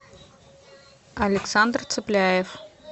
александр цепляев